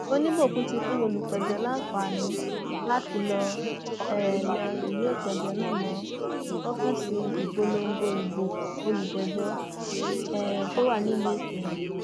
oníbòkun ti fún olùpẹjọ láǹfààní láti lọọ um lẹ ìwé ìpéjọ náà mọ ọfíìsì ìpolongo ìbò olùjẹjọ um tó wà nílùú ìkírùn